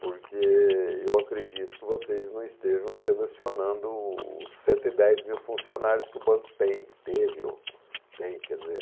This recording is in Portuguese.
Porque eu acredito que vocês não estejam selecionando os cento e dez mil funcionários que o banco tem, teve ou tem, quer dizer